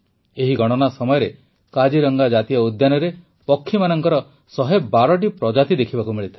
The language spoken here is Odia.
ଏହି ଗଣନା ସମୟରେ କାଜିରଙ୍ଗା ଜାତୀୟ ଉଦ୍ୟାନରେ ପକ୍ଷୀମାନଙ୍କର ୧୧୨ଟି ପ୍ରଜାତି ଦେଖିବାକୁ ମିଳିଥିଲା